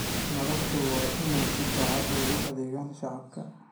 Madaxdu waa inay si daacad ah ugu adeegaan shacabka.